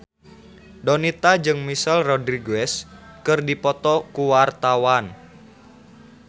Donita jeung Michelle Rodriguez keur dipoto ku wartawan